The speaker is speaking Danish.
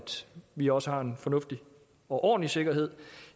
vi også har en fornuftig og ordentlig sikkerhed